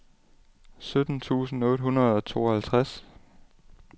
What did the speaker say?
sytten tusind otte hundrede og tooghalvtreds